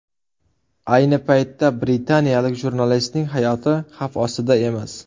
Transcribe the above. Ayni paytda britaniyalik jurnalistning hayoti xavf ostida emas.